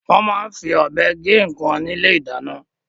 Wọ́n máa ń fi ọ̀bẹ gé nǹkan ní ilé-ìdáná.